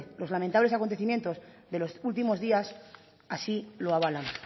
los lamentables acontecimientos de los últimos días así lo avalan